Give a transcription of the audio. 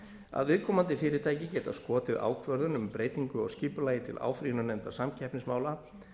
að viðkomandi fyrirtæki geta skotið ákvörðun um breytingu á skipulagi til áfrýjunarnefndar samkeppnismála